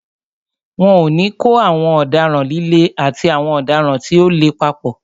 Wọn ò ní kó àwọn ọ̀daràn líle àti àwọn ọ̀daràn tí ò le papọ̀.